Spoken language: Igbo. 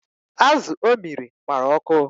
Azu o miri gbara ọkụ